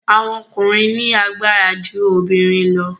Àwọn ọkùnrin ní agbára ju obìrin lọ.